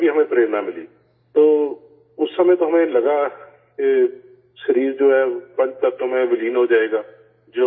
ان سے بھی ہمیں حوصلہ ملا تو اس وقت تو ہمیں لگاکہ جسم جو ہے، پانچ عناصر میں تحلیل ہو جائے گا